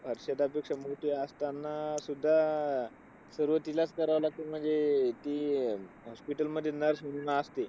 हर्षदाची संमती असताना सुद्धा, आह सर्व तिलाच करायला लागते. म्हणजे ते अं ती hospital मध्ये nurse म्हणून असते.